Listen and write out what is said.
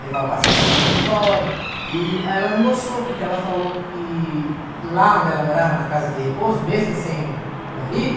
Levava a passear na cadeira de roda, e ela não gostou, porque ela falou que lá onde ela morava, na casa de repouso, mesmo sem o o marido,